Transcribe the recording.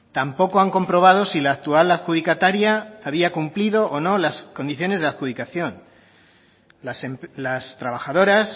tampoco han comprobado si la actual adjudicataria había cumplido o no las condiciones de adjudicación las trabajadoras